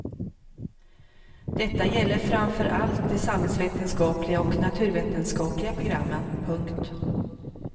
Detta gäller framför allt de samhällsvetenskapliga och naturvetenskapliga programmen. punkt